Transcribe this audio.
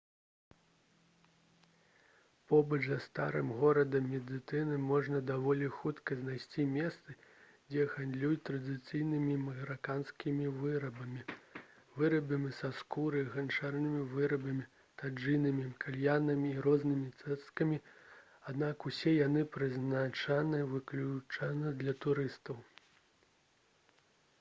побач са старым горадам медыны можна даволі хутка знайсці месцы дзе гандлююць традыцыйнымі мараканскімі вырабамі вырабамі са скуры ганчарнымі вырабамі таджынамі кальянамі і рознымі цацкамі аднак усе яны прызначаны выключна для турыстаў